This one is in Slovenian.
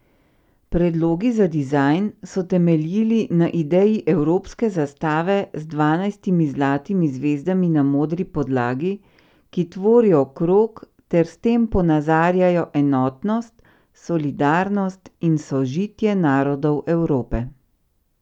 Predlogi za dizajn so temeljili na ideji evropske zastave z dvanajstimi zlatimi zvezdami na modri podlagi, ki tvorijo krog ter s tem ponazarjajo enotnost, solidarnost in sožitje narodov Evrope.